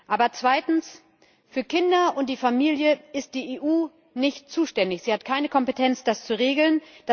Aber zweitens Für Kinder und die Familie ist die EU nicht zuständig, sie hat keine Kompetenz, das zu regeln.